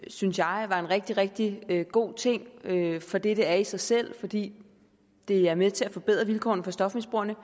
synes jeg var en rigtig rigtig god ting for det det er i sig selv fordi det er med til at forbedre vilkårene for stofmisbrugerne